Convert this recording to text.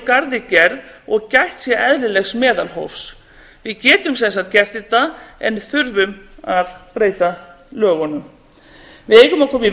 garði gerð og gætt sé eðlilegs meðalhófs við getum sem sagt gert þetta en þurfum að breyta lögunum við eigum að